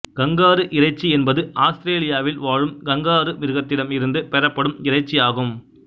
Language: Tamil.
கங்காரு இறைச்சி என்பது ஆஸ்திரேலியாவில் வாழும் கங்காரு மிருகத்திடம் இருந்து பெறப்படும் இறைச்சி ஆகும்